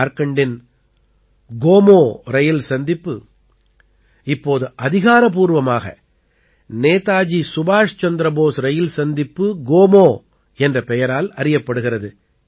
ஜார்க்கண்டின் கோமோ ரயில் சந்திப்பு இப்போது அதிகாரப்பூர்வமாக நேதாஜி சுபாஷ் சந்திர போஸ் ரயில் சந்திப்பு கோமோ என்ற பெயரால் அறியப்படுகிறது